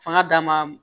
Fanga dama